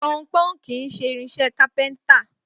Pọnpọ́n kì í ṣe irinṣẹ́ kápẹ́ntà